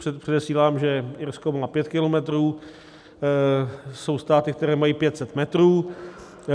Předesílám, že Irsko má pět kilometrů, jsou státy, které mají 500 metrů.